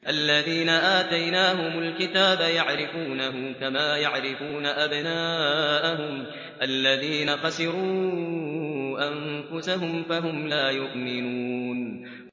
الَّذِينَ آتَيْنَاهُمُ الْكِتَابَ يَعْرِفُونَهُ كَمَا يَعْرِفُونَ أَبْنَاءَهُمُ ۘ الَّذِينَ خَسِرُوا أَنفُسَهُمْ فَهُمْ لَا يُؤْمِنُونَ